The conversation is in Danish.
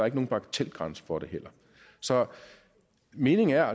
ikke nogen bagatelgrænse for det heller så meningen er